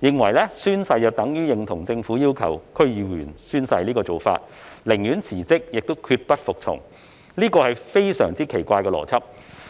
認為宣誓等於認同政府要求區議員宣誓的做法，寧可辭職亦決不服從，這是非常奇怪的邏輯。